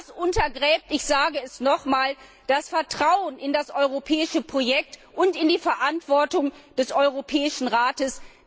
Das untergräbt ich sage es nochmals das Vertrauen in das europäische Projekt und in die Verantwortung des Europäischen Rates.